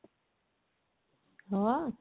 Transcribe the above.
ହଁ?